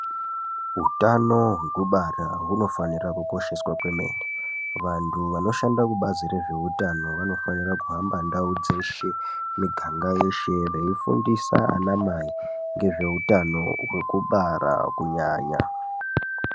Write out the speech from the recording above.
Hutano wekubara wunofanirwa kukosheswa kwemeni. Vantu vanoshandira kubhazi rezvehutano, vanofanira kuhamba ndawo dzeshe, miganga yese veyifundisa anamai ngezvehutano wekubara kunyanya.